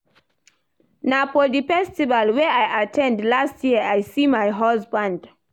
Na for the festival wey I at ten d last year I see my husband